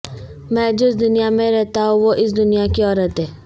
میں جس دنیا میں رہتا ہوں وہ اس دنیا کی عورت ہے